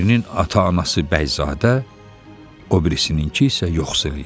Birinin ata-anası bəyzadə, o birisinin ki isə yoxsul idi.